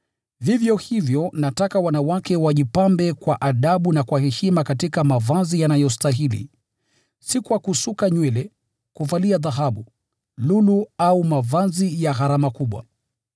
Vivyo hivyo nataka wanawake wajipambe kwa adabu na kwa heshima katika mavazi yanayostahili, si kwa kusuka nywele, kuvalia dhahabu, lulu au mavazi ya gharama kubwa,